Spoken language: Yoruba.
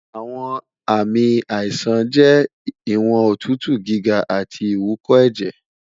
awọn aami aisan jẹ iwọn otutu giga ati iwúkọẹjẹ